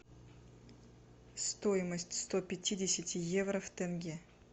стоимость сто пятидесяти евро в тенге